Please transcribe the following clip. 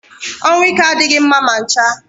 Ọnwụ ike adịghị mma ma ncha